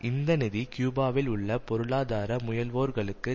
இந்த நிதி கியூபாவில் உள்ள பொருளாதார முயல்வோர்களுக்கு